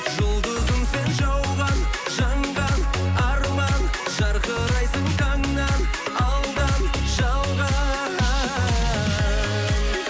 жұлдызым сен жауған жанған арман жарқырайсың таңнан алдан жалған